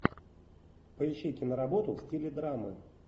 поищи киноработу в стиле драмы